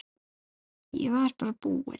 Ég var bara búinn.